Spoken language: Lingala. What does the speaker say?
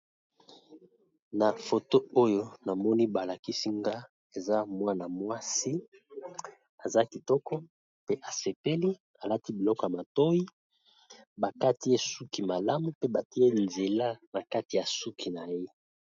Na foto oyo na moni balakisinga eza mwana mwasi aza kitoko pe asepeli alati biloko ya matoi bakati esuki malamu pe batie nzela na kati ya suki na ye.